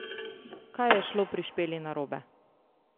Kaj je šlo pri Špeli narobe?